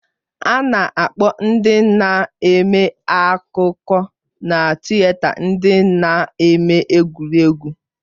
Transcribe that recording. A na-akpọ ndị na-eme akụkọ na tịeta ndị na-eme egwuregwu.